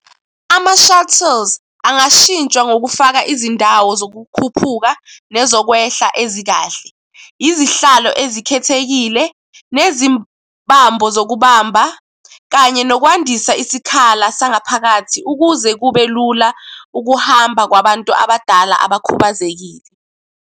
Ama-shuttles angashintshwa ngokufaka izindawo zokukhuphuka nezokwehla ezikahle. Izihlalo ezikhethekile, nezibambo zokubamba kanye nokwandisa isikhala sangaphakathi ukuze kube lula ukuhamba kwabantu abadala abakhubazekile.